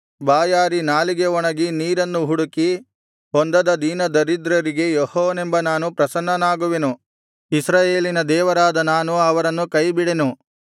ಬಾಯಾರಿ ನಾಲಿಗೆ ಒಣಗಿ ನೀರನ್ನು ಹುಡುಕಿ ಹೊಂದದ ದೀನದರಿದ್ರರಿಗೆ ಯೆಹೋವನೆಂಬ ನಾನು ಪ್ರಸನ್ನನಾಗುವೆನು ಇಸ್ರಾಯೇಲಿನ ದೇವರಾದ ನಾನು ಅವರನ್ನು ಕೈಬಿಡೆನು